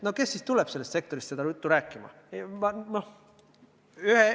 No kes tuleb sellest sektorist niisugust juttu rääkima?